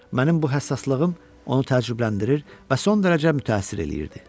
Mənim bu həssaslığım onu təəccübləndirir və son dərəcə mütəəssir eləyirdi.